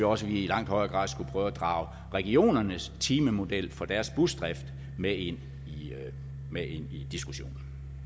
også vi i langt højere grad skulle prøve at drage regionernes timemodel for deres busdrift med ind i diskussionen